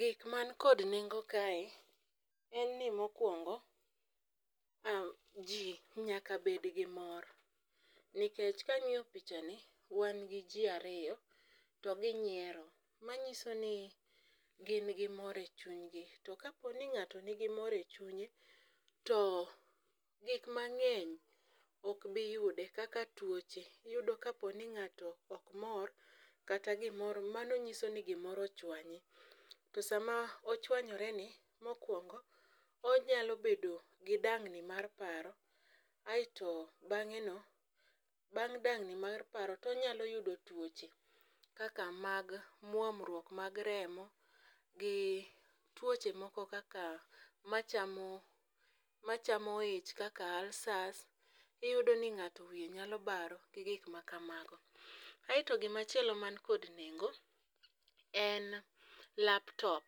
Gik man kod nengo kae en ni mokwongo, jii nyaka bed gi mor nikech kang'iyo picha ni wan gi jii ariyo to ginyiero .Manyiso ni gin gi mor e chuny gi to kaponi ng'ato nigi mor e chunye to gik mang'eny ok bi yude kaka tuoche. Iyudo kaponi ng'ato ok moro kata gimoro mano nyiso ni gimoro ochwanye to sama ochwanyore ni mokwongo onyalo bedo gi dang'ni mar paro aeto bang'e no bang' dang'ni mar paro tonyalo yudo tuoche kaka mag muomruok mag remo gi tuoche moko kaka machamo machamo ich kaka ulcers . Iyudo ni ng'ato wiye nyalo baro gi gik ma kamago aeto gima chielo man kendo nengo en laptop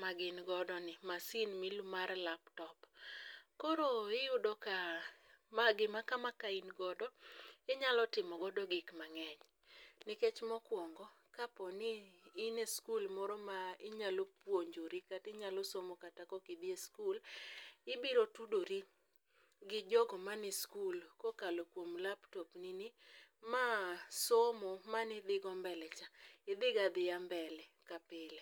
ma gin godo ni masin mil mar laptop. Koro iyudo ka ma gima kama ka in godo inyalo timo godo gik mang'eny nikech mokwongo kaponi in e skul moro ma inyalo puonjri kata inyalo somo kata koki dhi e skul. Ibiro tudori gi jogo mane skul kokalo kuom laptop ni ni ma somo manidhigo mbele cha idhigo adhiya mbele kaka pile.